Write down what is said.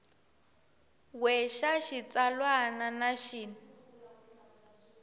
we xa xitsalwana na xin